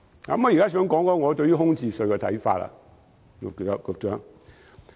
局長，我想談談對於空置稅的看法。